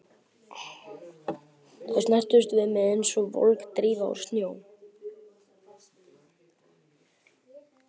Þær snertust við mig einsog volg drífa úr snjó.